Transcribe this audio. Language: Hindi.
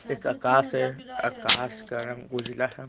एक आकाश है आकाश का रंग उज्जला--